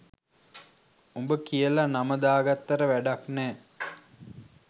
උබ කියල නම දාගත්තට වැඩක්නැ